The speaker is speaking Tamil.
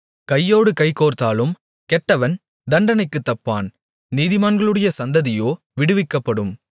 கையோடு கைகோர்த்தாலும் கெட்டவன் தண்டனைக்குத் தப்பான் நீதிமான்களுடைய சந்ததியோ விடுவிக்கப்படும்